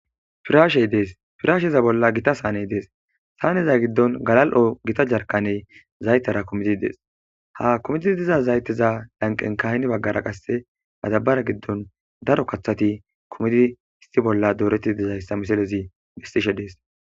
firaashey dees firaasheza bolla gita saaney dees saaneza giddon galal7o gita jarkaney zaytera kumitid dees ha kumetidi diza zayteza lanqen kahni baggara qasse mazabara giddon daro kathati kumidi histi bolla dooreti dizayssa misalezi bestishe dees